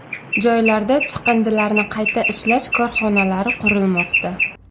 Joylarda chiqindilarni qayta ishlash korxonalari qurilmoqda.